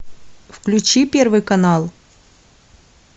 включи первый канал